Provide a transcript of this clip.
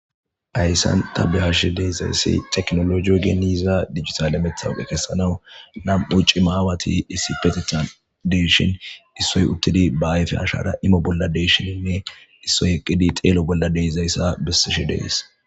ayssan tabbliyashi deezayssi teknolo iyo geeniza dijitalemethawuqe kessanawu nam7u cimaawati issi petetha deshin issoy uttidi baayfe ashara imo bolla deshininne issoy eqqidi xeelo bolla deezayssa bessishi dees